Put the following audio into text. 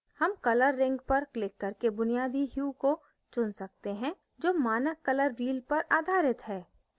hue color ring पर click करके बुनियादी hue को चुन सकते हैं जो मानक color wheel पर आधारित है